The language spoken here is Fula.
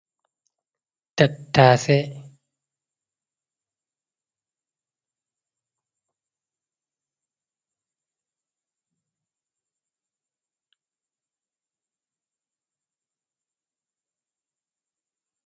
tattase ɗo jooɗi, ɓeɗon naftira bee tattase haa waɗuki haako.